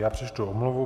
Já přečtu omluvu.